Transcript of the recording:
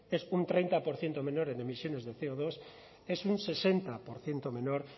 es un treinta por ciento menor en emisiones de ce o dos es un sesenta por ciento menor